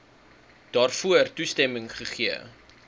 daarvoor toestemming gegee